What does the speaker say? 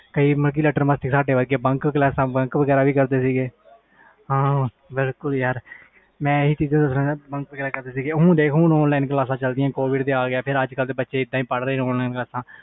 bunck ਕਰਦੇ ਸੀ ਇਹਦਾ ਹੀ ਯਾਰ ਹੁਣ online class ਆ ਗਿਆ ਪਹਲੇ offline ਸੀ ਹੁਣ online ਪੜ੍ਹਦੇ ਬੱਚੇ